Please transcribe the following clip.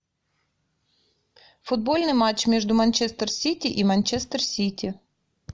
футбольный матч между манчестер сити и манчестер сити